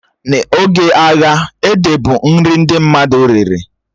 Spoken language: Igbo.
Na oge agha, ede bụ nri ndị mmadụ riri